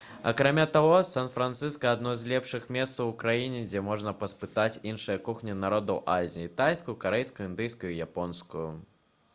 акрамя таго сан-францыска адно з лепшых месцаў у краіне дзе можна паспытаць іншыя кухні народаў азіі тайскую карэйскую індыйскую і японскую